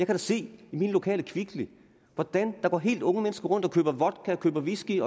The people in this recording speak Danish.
da se i min lokale kvickly hvordan der går helt unge mennesker rundt og køber vodka og whisky